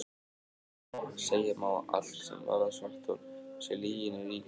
Segja má að allt sem varðar svarthol sé lyginni líkast.